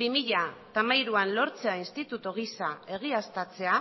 bi mila hamairuan lortzea instituto gisa egiaztatzea